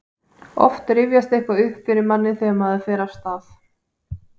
oft rifjast eitthvað upp fyrir manni þegar maður fer af stað